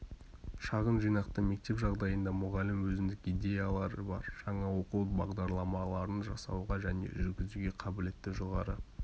шағын жинақты мектеп жағдайында мұғалім өзіндік идеялары бар жаңа оқу бағдарламаларын жасауға және жүргізуге қабілетті жоғары